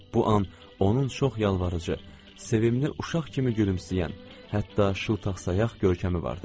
Bu an onun çox yalvarıcı, sevimli, uşaq kimi gülümsəyən, hətta şıltaq sayaq görkəmi vardı.